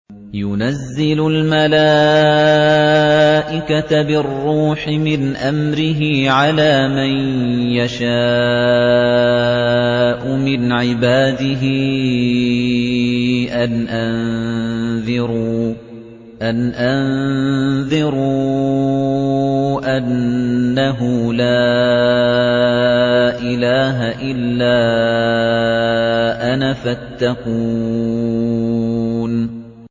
يُنَزِّلُ الْمَلَائِكَةَ بِالرُّوحِ مِنْ أَمْرِهِ عَلَىٰ مَن يَشَاءُ مِنْ عِبَادِهِ أَنْ أَنذِرُوا أَنَّهُ لَا إِلَٰهَ إِلَّا أَنَا فَاتَّقُونِ